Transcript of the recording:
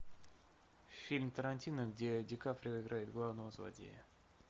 фильм тарантино где ди каприо играет главного злодея